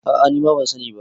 a ' a ni ma ban sani ba